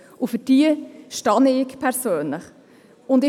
Dafür stehe ich persönlich ein.